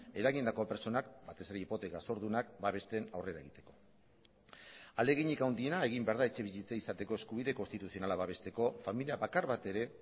eragindako pertsonak batez ere hipoteka zordunak babesten aurrera egiteko ahaleginik handiena egin behar da etxebizitza izateko eskubide konstituzionala babesteko familia bakar bat ere